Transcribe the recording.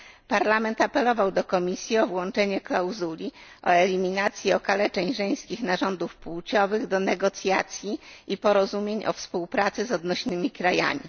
Parlament apelował do Komisji o włączenie klauzuli o eliminacji okaleczeń żeńskich narządów płciowych do negocjacji i porozumień o współpracy z odnośnymi krajami.